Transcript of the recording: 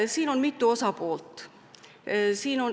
Siin on mitu osapoolt.